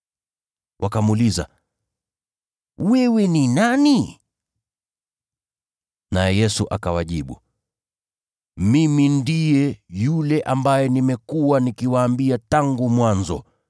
Wakamuuliza, “Wewe ni nani?” Naye Yesu akawajibu, “Mimi ndiye yule ambaye nimekuwa nikiwaambia tangu mwanzo.